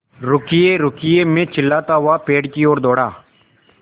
रुकिएरुकिए मैं चिल्लाता हुआ पेड़ की ओर दौड़ा